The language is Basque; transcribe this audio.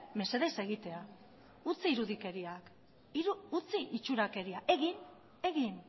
mesedez egitea utzi irudikeriak utzi itxurakeria egin egin